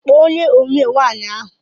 Kpọọ ónyé omee nwaanyị ahụ!!